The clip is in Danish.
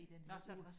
Nåh så